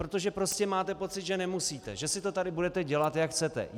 Protože prostě máte pocit, že nemusíte, že si to tady budete dělat, jak chcete.